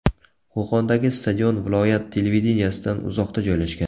Qo‘qondagi stadion viloyat televideniyesidan uzoqda joylashgan.